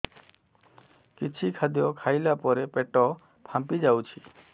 କିଛି ଖାଦ୍ୟ ଖାଇଲା ପରେ ପେଟ ଫାମ୍ପି ଯାଉଛି